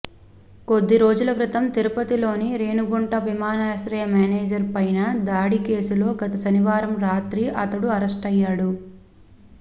కొద్ది రోజుల క్రితం తిరుపతిలోని రేణిగుంట విమానాశ్రయ మేనేజర్ పైన దాడి కేసులో గత శనివారం రాత్రి అతడు అరెస్టయ్యాడు